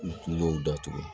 U kungo datugu